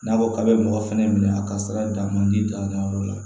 N'a ko k'a bɛ mɔgɔ fɛnɛ minɛ a ka sira dan man di danyɔrɔ la